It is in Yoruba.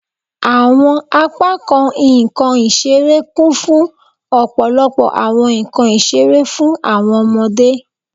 Awọn apakan nkan isere kun fun ọpọlọpọ awọn nkan isere fun awọn ọmọde